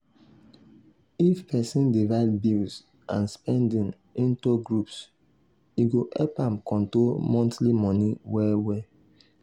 if person divide bills and spending into groups e go help am control monthly money well well.